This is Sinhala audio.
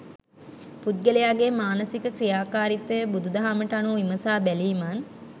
පුද්ගලයාගේ මානසික ක්‍රියාකාරිත්වය බුදුදහමට අනුව විමසා බැලීමත්